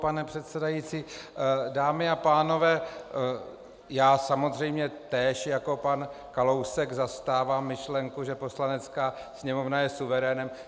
Pane předsedající, dámy a pánové, já samozřejmě též jako pan Kalousek zastávám myšlenku, že Poslanecká sněmovna je suverénem.